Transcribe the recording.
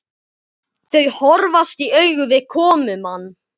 Þau horfast í augu við komumann.